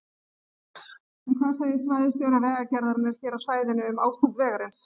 En hvað segir svæðisstjóri Vegagerðarinnar hér á svæðinu um ástand vegarins?